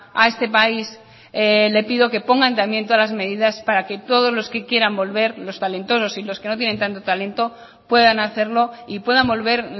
a este país le pido que pongan también todas las medidas para que todos los que quieran volver los talentosos y los que no tienen tanto talento puedan hacerlo y puedan volver